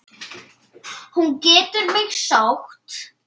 Hún getur mig sótt.